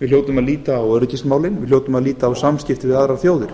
við hljótum að líta á öryggismálin við hljótum að líta á samskipti við aðrar þjóðir